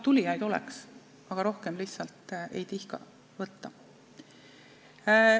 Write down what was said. Tulijaid oleks, aga rohkem lihtsalt ei tihka võtta.